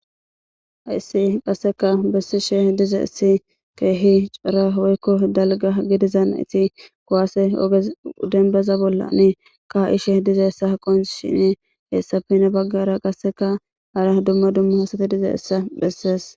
hayssi qasseka bessi she diza essi keehi cora woykko dalga gidizan iti kuwaase denbaza bolla ne ka ishe diza essa haqon shine heessa fina baggara qasseka hara dumma dumma hasate diza essa bhessees